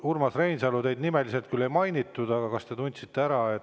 Urmas Reinsalu, teid nimeliselt küll ei mainitud, aga kas te tundsite ennast ära?